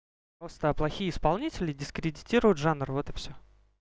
просто плохие исполнители дискредитируют жанр вот и всё